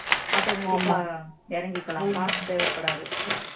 automatic ஆ இறங்கிக்கலாம் pass தேவைப்படாது